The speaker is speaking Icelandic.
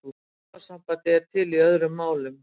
Orðasambandið er til í öðrum málum.